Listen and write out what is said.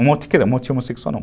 Um um motim homossexual, não.